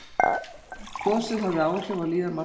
Gosið hafði áhrif á líðan margra